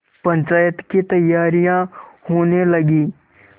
पंचायत की तैयारियाँ होने लगीं